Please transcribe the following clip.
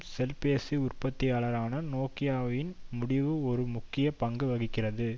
செல்பேசி உற்பத்தியாளரான நோக்கியாவின் முடிவு ஒரு முக்கிய பங்கு வகிக்கிறது